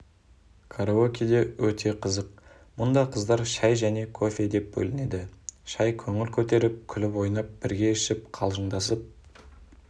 караокеде өте қызық мұнда қыздар шай және кофе деп бөлінеді шай көңіл-көтеріп күліп-ойнап бірге ішіп қалжыңдасып